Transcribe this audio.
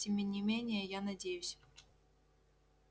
тем не менее я надеюсь